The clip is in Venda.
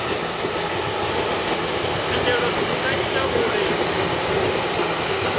thendelo zwi nga ita uri